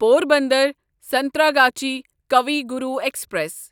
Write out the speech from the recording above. Porbandar Santragachi Kavi Guru express